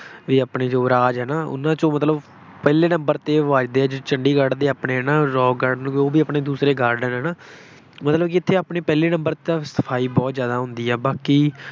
ਬਈ ਆਪਣੇ ਯੁਵਰਾਜ ਹੈ ਨਾ ਉਹਨਾ ਚੋਂ ਮਤਲਬ ਪਹਿਲੇ number ਤੇ ਉਹ ਵੱਜਦੇ ਆ ਜਿਹਦੇ ਚ ਚੰਡੀਗੜ੍ਹ ਦੇ ਆਪਣੇ ਹੈ ਨਾ ਰੌਕ ਗਾਰਡਨ ਹੈ ਨਾ ਉਹ ਆਪਣੇ ਦੂਸਰੇ garden ਹੈ ਨਾ, ਮਤਲਬ ਕਿ ਇੱਥੇ ਆਪਣੇ ਪਹਿਲੇ number ਤੇ ਤਾਂ ਸਫਾਈ ਬਹੁਤ ਜ਼ਿਆਦਾ ਹੁੰਦੀ ਹੈ। ਬਾਕੀ